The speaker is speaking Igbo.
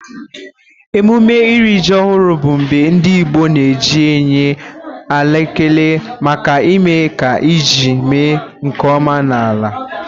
Emume ịrị ji ọhụrụ bụ mgbe ndị Igbo na-eji enye ala ekele maka ime ka ji mee nkeọma n'ala.